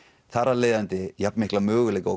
þar af leiðandi jafnmikla möguleika og